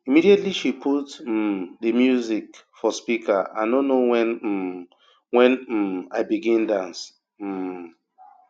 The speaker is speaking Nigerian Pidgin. immediately she put um di music for speaker i no know wen um wen um i begin dance um